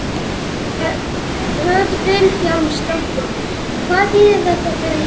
Hödd Vilhjálmsdóttir: Hvað þýðir þetta fyrir Ísland?